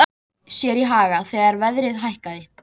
GUÐBJÖRG: Hann á hér ekkert erindi.